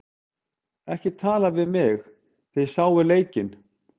Ekki tala við mig, þið sáuð leikinn.